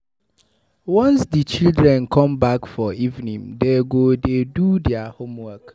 Once di children come back for evening, dey go dey do their homework.